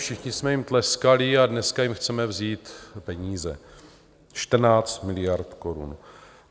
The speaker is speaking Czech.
Všichni jsme jim tleskali a dneska jim chceme vzít peníze - 14 miliard korun.